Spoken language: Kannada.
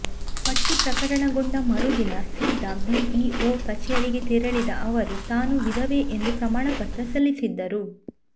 ಪಟ್ಟಿ ಪ್ರಕಟಗೊಂಡ ಮರುದಿನ ಸೀದಾ ಬಿಇಒ ಕಚೇರಿಗೇ ತೆರಳಿದ ಅವರು ತಾನು ವಿಧವೆ ಎಂದು ಪ್ರಮಾಣಪತ್ರ ಸಲ್ಲಿಸಿದ್ದರು